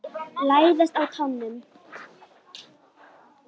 Læðast á tánum.